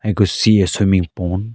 I could see a swimming pond .